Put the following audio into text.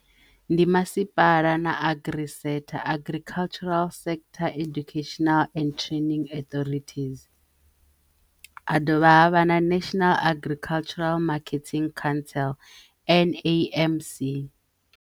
Ndi masipala na agricentre Agricultural Sector Educational and Training Arthritis. Ha dovha havha na National Agricultural Marketing council N_A_M_C.